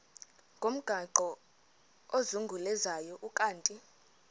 ngomgaqo ozungulezayo ukanti